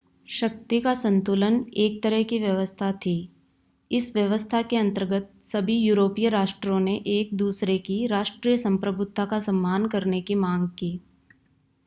शक्ति का संतुलन एक तरह की व्यवस्था थी इस व्यवस्था के अंतर्गत सभी यूरोपीय राष्ट्रों ने एक-दूसरे की राष्ट्रीय संप्रभुता का सम्मान करने की मांग की